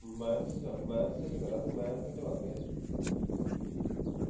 minus ਵਿਚ ਆ minus ਵਿਚ ਮਾਈਨੱਸ ਵਿਚ ਵਗ ਗਿਆ ਇਹ